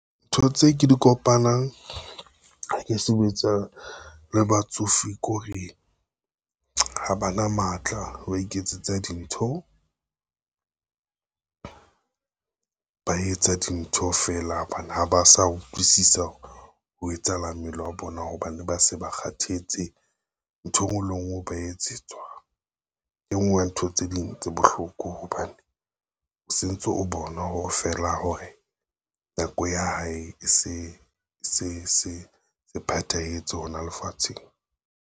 Ntho tse ke di kopanang ha ke sebetsa le batsofe kore, ha bana matla wa iketsetsa dintho, ba etsa dintho fela hobane ha ba sa utlwisisa ho etsahalang mmele wa bona hobane ba se ba kgathetse. Ntho e ngwe le e ngwe ba etsetswa e ngwe ya ntho tse ding tse bohloko hobane, se ntse o bona hore fela hore nako ya hae e se phethahetse hona lefatsheng.